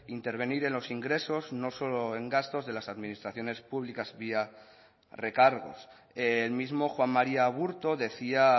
intervenir en los ingresos no solo en gastos de las administraciones públicas vía recargos el mismo juan maría aburto decía